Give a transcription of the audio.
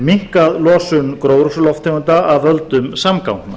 minnkað losun gróðurhúsalofttegunda af völdum samgangna